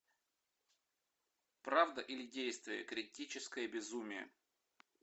правда или действие критическое безумие